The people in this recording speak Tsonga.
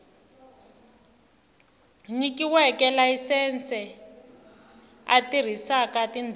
nyikiweke layisense a tirhisaka tindhawu